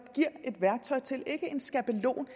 giver et værktøj til ikke en skabelon